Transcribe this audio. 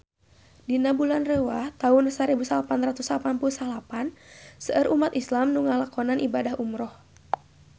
Dina bulan Rewah taun sarebu salapan ratus salapan puluh salapan seueur umat islam nu ngalakonan ibadah umrah